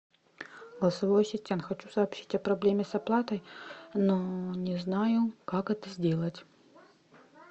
голосовой ассистент хочу сообщить о проблеме с оплатой но не знаю как это сделать